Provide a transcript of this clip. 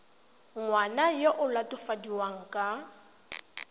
ngwana yo o latofadiwang ka